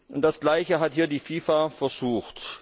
Und das Gleiche hat hier die FIFA versucht!